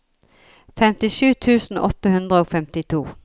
femtisju tusen åtte hundre og femtito